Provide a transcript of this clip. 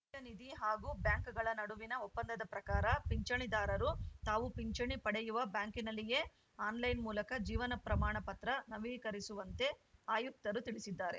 ನಿಧಿ ಹಾಗೂ ಬ್ಯಾಂಕ್‌ಗಳ ನಡುವಿನ ಒಪ್ಪಂದದ ಪ್ರಕಾರ ಪಿಂಚಣಿದಾರರು ತಾವು ಪಿಂಚಣಿ ಪಡೆಯುವ ಬ್ಯಾಂಕಿನಲ್ಲಿಯೇ ಆನ್‌ಲೈನ್‌ ಮೂಲಕ ಜೀವನ ಪ್ರಮಾಣ ಪತ್ರ ನವೀಕರಿಸುವಂತೆ ಆಯುಕ್ತರು ತಿಳಿಸಿದ್ದಾರೆ